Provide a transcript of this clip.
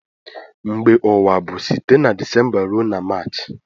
Mgbe ugha bu site na decemba rue na march.